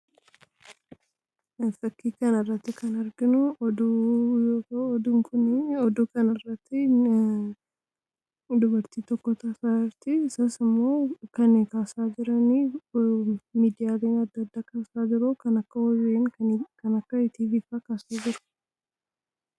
fakkii kan irratti kan arginu d oduu kanirratti dubartii tokkota faaarti isas immoo kan kaasaa jirani midiyaaliin addaaddaa kaasaa jiroo akka hoyin kan akka tvf kaasaa jiru